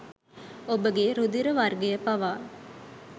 ඔබගේ රුධිර වර්ගය පවා